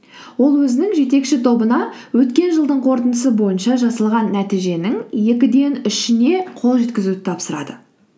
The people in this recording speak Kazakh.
ол өзінің жетекші тобына өткен жылдың қорытындысы бойынша жасалған нәтиженің екіден үшіне қол жеткізуді тапсырады